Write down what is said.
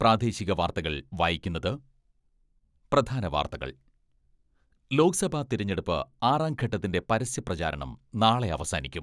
പ്രാദേശിക വാർത്തകൾ വായിക്കുന്നത് പ്രധാനവാർത്തകൾ ലോക്സഭാ തെരഞ്ഞെടുപ്പ് ആറാംഘട്ടത്തിന്റെ പരസ്യ പ്രചാരണം നാളെ അവസാനിക്കും.